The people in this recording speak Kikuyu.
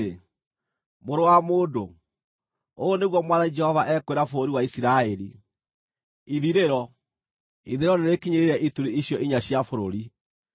“Mũrũ wa mũndũ, ũũ nĩguo Mwathani Jehova ekwĩra bũrũri wa Isiraeli: Ithirĩro! Ithirĩro nĩrĩkinyĩrĩire ituri icio inya cia bũrũri.